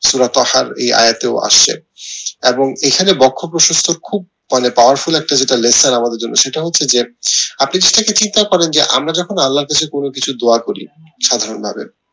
এই যায় টি আসছে এবং এখানে বক্ষ প্রশস্ত খুব মানে powerful একটা যেটা lesson আমাদের জন্য সেটা হচ্ছে যে আপনি যেটা কে চিন্তা করেন যে আমরা যখন আল্লাহর কাছে কোনো কিছু দুয়া করি সাধারণ ভাবে